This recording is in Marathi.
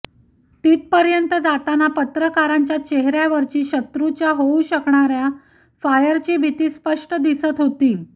तेथपर्यंत जातांना पत्रकारांच्या चेहऱ्यावरची शत्रूच्या होऊ शकणाऱ्या फायरची भीती स्पष्ट दिसत होती